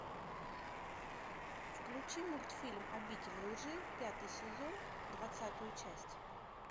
включи мультфильм обитель лжи пятый сезон двадцатую часть